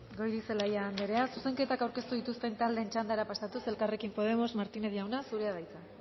goirizelaia andrea zuzenketak aurkeztu dituzten taldeen txandara pasatuz elkarrekin podemos martinez jauna zurea da hitza